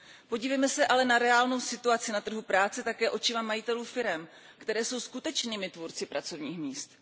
Podívejme se ale na reálnou situaci na trhu práce také očima majitelů firem, které jsou skutečnými tvůrci pracovních míst.